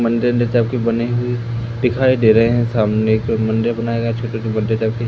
मंदिर बने है दिखाई दे रहे हैं सामने एक मंदिर बनाया गया छोटा सा --